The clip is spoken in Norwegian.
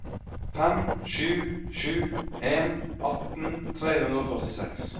fem sju sju en atten tre hundre og førtiseks